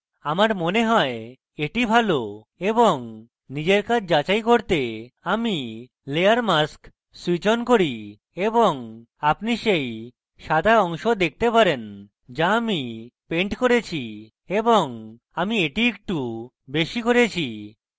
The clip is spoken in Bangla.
আমার মনে হয় এটি ভালো এবং নিজের কাজ যাচাই করতে আমি layer mask switch on করি এবং আপনি সেই সাদা অংশ দেখতে পারেন যা আমি পেন্ট করেছি এবং আমি এটি একটু বেশী করেছি